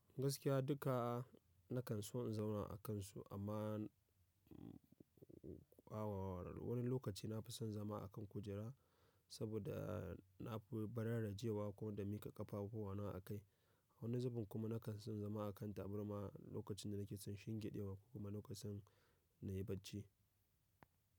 Gaskiya duka na kan so in zauna a kansu amma awar wani lokaci na fi son zama a kan kujera saboda na fi barar rajewa ko da mika kafafuwa na a kai. Wani zubin kuma na kan son zama a kan taburma lokacin da nake son shingiɗewa ko kuma lokacin na yi bacci.